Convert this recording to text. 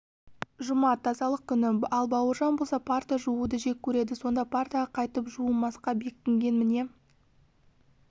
жұма тазалық күні ал бауыржан болса парта жууды жек көреді сонда партаға қайтып жуымасқа бекінген міне